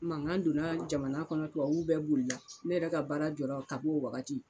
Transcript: Mangan donna jamana kɔnɔ tubabu bɛɛ boli la ne yɛrɛ ka baara jɔra ka b'o wagati